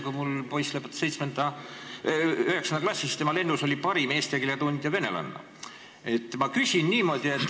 Kui mul poiss lõpetas 9. klassi, siis tema lennus oli parim eesti keele tundja venelanna.